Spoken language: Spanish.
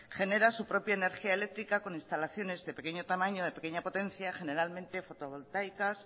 genera su propia energía eléctrica con instalaciones de pequeño tamaño de pequeña potencia generalmente fotovoltaicas